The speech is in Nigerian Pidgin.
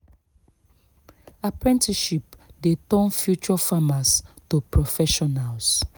apprenticeship dey turn future farmers to professionals